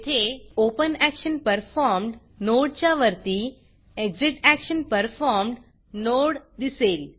येथे ओपनॅक्शनपरफॉर्म्ड नोडच्या वरती एक्झिटॅक्शनपरफॉर्म्ड नोड दिसेल